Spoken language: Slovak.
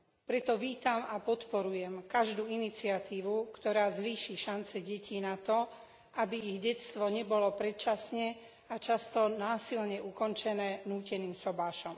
Preto vítam a podporujem každú iniciatívu, ktorá zvýši šance detí na to, aby ich detstvo nebolo predčasne a často násilne ukončené núteným sobášom.